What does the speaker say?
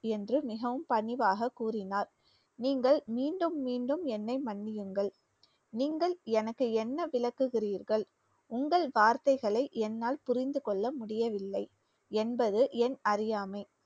என்று மிகவும் பணிவாக கூறினார். நீங்கள் மீண்டும் மீண்டும் என்னை மன்னியுங்கள் நீங்கள் எனக்கு என்ன விளக்குகிறீர்கள் உங்கள் வார்த்தைகளை என்னால் புரிந்து கொள்ள முடியவில்லை என்பது என் அறியாமை